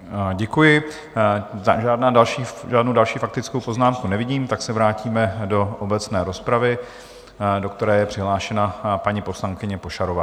Děkuji, žádnou další faktickou poznámku nevidím, tak se vrátíme do obecné rozpravy, do které je přihlášena paní poslankyně Pošarová.